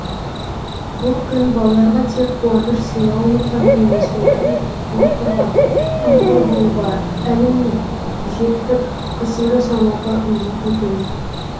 бұл күн балаларға тек қуаныш сыйлаумен ғана емес олардың құқығын қорғап қамқор болуға әлімжеттік қысым жасамауға үндейтін күн